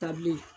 Ta bilen